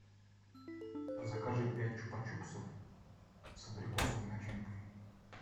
закажи пять чупа чупсов с абрикосовой начинкой